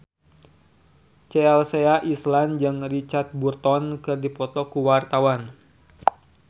Chelsea Islan jeung Richard Burton keur dipoto ku wartawan